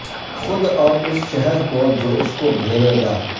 خود اور اس شہر کو جو اس کو گھیرے گا